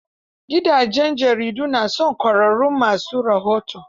Gidajen jaridu na son ƙwarraun ma su rahoto.